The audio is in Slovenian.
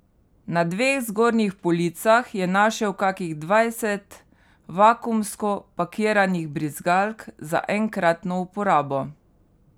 Na dveh zgornjih policah je našel kakih dvajset vakuumsko pakiranih brizgalk za enkratno uporabo.